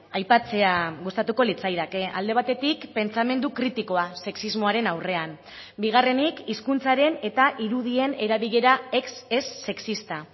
aipatzea gustatuko litzaidake alde batetik pentsamendu kritikoa sexismoaren aurrean bigarrenik hizkuntzaren eta irudien erabilera ez sexista